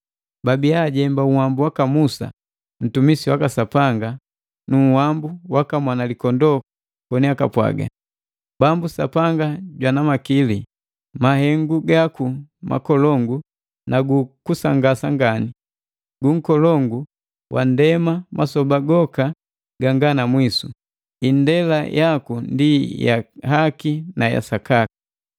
Babiya ajemba uwambu waka Musa, ntumisi waka Sapanga nu uwambu waka Mwanalikondoo koni akapwaga: “Bambu Sapanga Jwana Makili, mahengu gaku makolongu na gu kusangasa ngani! Gu nkolongu wa nndema masoba goka ganga namwisu, indela yaku ndi ya haki na ya sakaka!